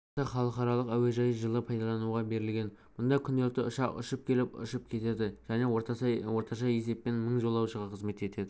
алматы халықаралық әуежайы жылы пайдалануға берілген мұнда күнделікті ұшақ ұшып келіп ұшып кетеді және орташа есеппен мың жолаушыға қызмет етеді